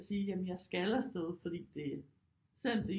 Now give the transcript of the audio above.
Sige jamen jeg skal afsted fordi det selvom det